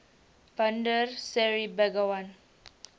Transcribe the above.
bandar seri begawan